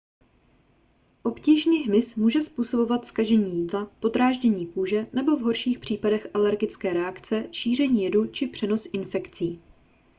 obtížný hmyz může způsobovat zkažení jídla podráždění kůže nebo v horších případech alergické reakce šíření jedu či přenos infekcí